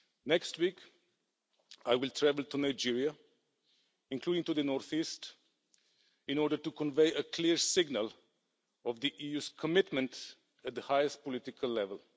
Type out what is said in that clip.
Next week I will travel to Nigeria, including to the northeast, in order to convey a clear signal of the EU's commitment at the highest political level.